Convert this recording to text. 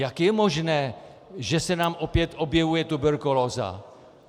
Jak je možné, že se nám opět objevuje tuberkulóza?